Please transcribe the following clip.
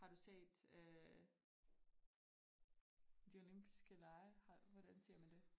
Har du set øh de olympiske lege har hvordan siger man det?